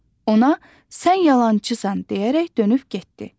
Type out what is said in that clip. Ona "Sən yalançısan" deyərək dönüb getdi.